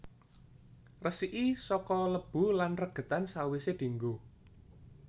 Resiki saka lebu lan regedan sawise dienggo